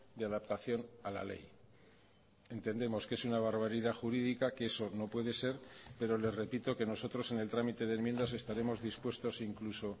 de adaptación a la ley entendemos que es una barbaridad jurídica que eso no puede ser pero le repito que nosotros en el trámite de enmiendas estaremos dispuestos incluso